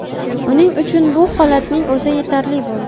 Uning uchun bu holatning o‘zi yetarli bo‘ldi.